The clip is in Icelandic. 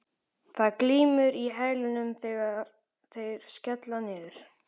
Það glymur í hælunum þegar þeir skella niður.